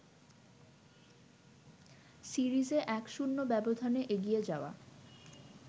সিরিজে ১-০ ব্যবধানে এগিয়ে যাওয়া